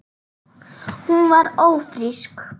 Hún var ófrísk.